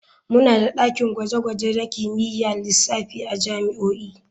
Muna da dakin gwaje-gwaje na kimiyyar lissafi a jami'o'i.